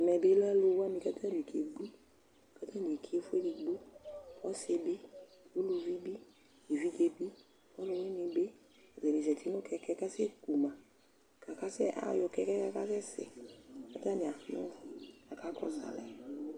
Ɛmɛ bɩ lɛ alʋ wanɩ kʋ akebui, kʋ atanɩ eki ɛfʋ edigbo, ɔsɩ bɩ, uluvi bɩ, evidze bɩ, ɔlʋwɩnɩ bɩ Atanɩ zati nʋ kɛkɛ kʋ akasɛku ma kʋ akasɛ ayɔ kɛkɛ yɛ kʋ akasɛsɛ kʋ atanɩ anʋ kʋ akakɔsʋ alɛ